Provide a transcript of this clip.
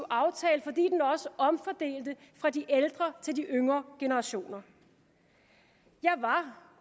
aftale fordi den også omfordelte fra de ældre til de yngre generationer jeg var